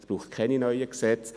Es braucht keine neuen Gesetze.